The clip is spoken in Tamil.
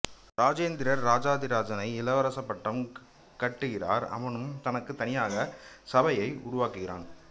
இராஜேந்திரர் ராஜாதிராஜானை இளவரசு பட்டம் கட்டுகிறார் அவனும் தனக்கு தனியாக சபையை உருவாக்குகிறான்